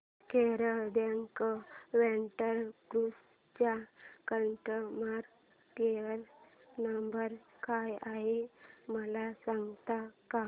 Kerala backwater cruise चा customer care number काय आहे मला सांगता का